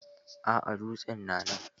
A'a, dutsen na nan.